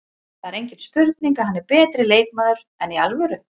Það er engin spurning að hann er betri leikmaður, enn í alvöru?